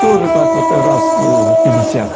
тоже так вот раз ээ пятьдесят